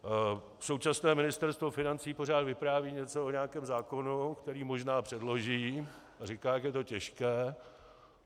Současné Ministerstvo financí pořád vypráví něco o nějakém zákonu, který možná předloží, a říká, jak je to těžké.